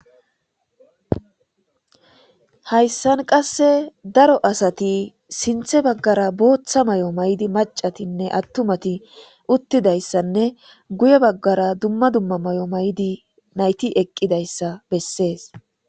Hayisan qaseka daro asati sinithe bagara botha mayo ma'idi macatine atumati utidayisa guye bagara duma duma mayo mayidi nayiti eqidayisa beses